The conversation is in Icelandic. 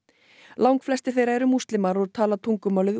langflestir þeirra eru múslimar og tala tungumálið